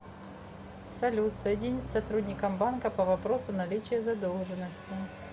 салют соединить с сотрудником банка по вопросу наличия задолжности